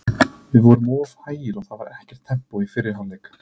Við vorum of hægir og það var ekkert tempó í fyrri hálfleik.